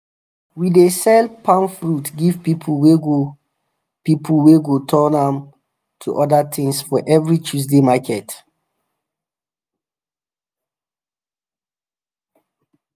we dey sell palm friut give people wey go people wey go turn am to other things for every tuesday market